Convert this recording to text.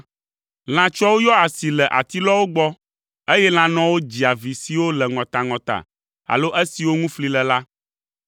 Lãtsuawo yɔa asi le atilɔawo gbɔ, eye lãnɔawo dzia vi siwo le ŋɔtaŋɔta alo esiwo ŋu fli le la.